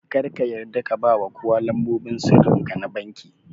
Kar ka yarda ka bawa kowa lambobin sirrinka na vanki